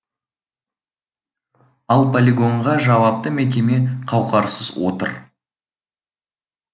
ал полигонға жауапты мекеме қауқарсыз отыр